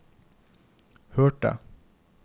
hørte